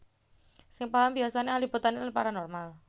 Sing paham biasane ahli botani lan paranormal